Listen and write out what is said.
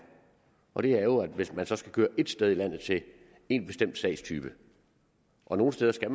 og det er jo at hvis man så skal køre et sted i landet til en bestemt sagstype og nogle steder skal